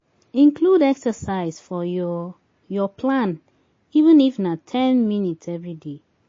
Include exercise for your your plan even if na ten minutes everyday